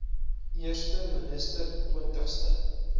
eerste minister twintigste